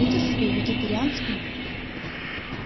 питерскую вегетарианскую